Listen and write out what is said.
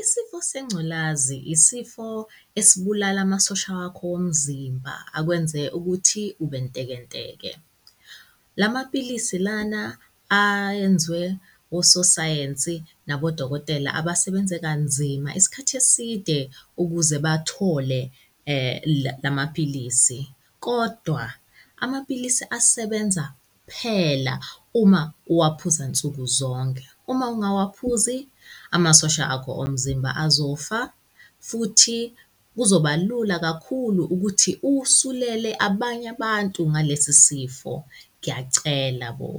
Isifo sengculazi, isifo esibulala amasosha wakho womzimba, akwenze ukuthi ube ntekenteke. La mapilisi lana ayenziwe ososayensi nabodokotela abasebenze kanzima isikhathi eside ukuze bathole la mapilisi. Kodwa amapilisi asebenza kuphela uma uwaphuza nsuku zonke. Uma ungawaphuzi, amasosha akho omzimba azofa futhi kuzoba lula kakhulu ukuthi usulele abanye abantu ngalesi sifo. Ngiyacela bo,